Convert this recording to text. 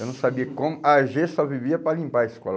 Eu não sabia como, á gê só vivia para limpar a escola.